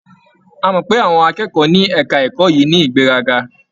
A mọ̀ pé àwọn akẹ́kọ̀ọ́ ní ẹ̀ka ẹ̀kọ́ yìí ní ìgbéraga.